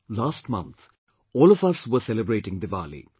Last month, all of us were celebrating Diwali